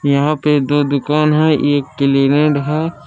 यहां पे दो दुकान है एक क्लिनेड है।